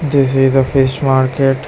This is a fish market.